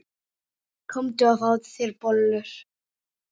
Komdu og fáðu þér bollur.